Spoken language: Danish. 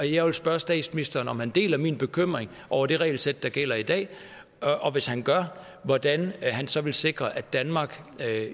jeg vil spørge statsministeren om han deler min bekymring over det regelsæt der gælder i dag og hvis han gør hvordan han så vil sikre at danmark